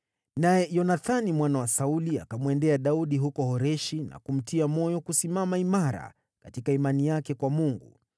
Naye Yonathani mwana wa Sauli akamwendea Daudi huko Horeshi na kumtia moyo kusimama imara katika imani yake kwa Mungu.